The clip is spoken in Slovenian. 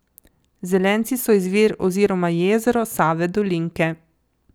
Zelenci so izvir oziroma jezero Save Dolinke.